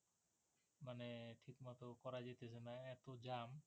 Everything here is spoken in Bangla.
এতো jam